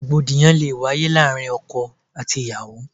Rògbòdìyàn lé wáyé láàárín ọkọ àti ìyàwó.